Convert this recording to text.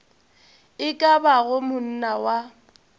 e ka bago monna wa